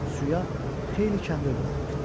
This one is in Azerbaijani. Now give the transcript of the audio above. Suya xeyli kəndir buraxmışdı.